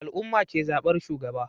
Al'ummah ke zabar shugaba